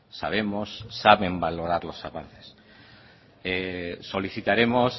sabemos saben valorar los avances solicitaremos